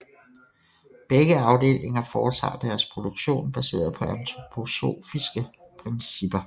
Begge afdelinger foretager deres produktion baseret på antroposofiske principper